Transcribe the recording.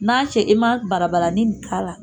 N'a cɛ i ma balabalali nin k'a la